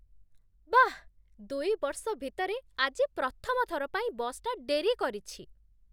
ବାଃ, ଦୁଇ ବର୍ଷ ଭିତରେ ଆଜି ପ୍ରଥମ ଥର ପାଇଁ ବସ୍‌ଟା ଡେରି କରିଛି!